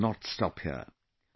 We must not stop here